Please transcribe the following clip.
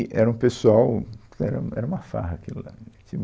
E era um pessoal, era era uma farra aquilo lá.